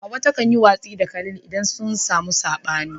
Hawwa takan yi watsi da Khalid idan sun samu sabani.